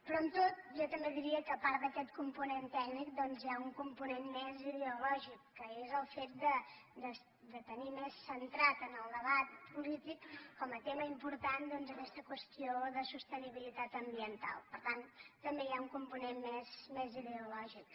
però amb tot jo també diria que a part d’aquest component tècnic doncs hi ha un component més ideològic que és el fet de tenir més centrat en el debat polític com a tema important doncs aquesta qüestió de sostenibilitat ambiental per tant també hi ha un component més ideològic